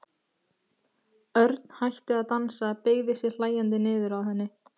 Örn hætti að dansa, beygði sig hlæjandi niður að henni.